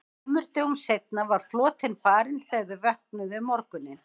Tveimur dögum seinna var flotinn farinn þegar þau vöknuðu um morguninn.